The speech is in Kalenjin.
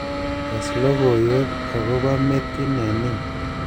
tes logoiwek agopo metit nenin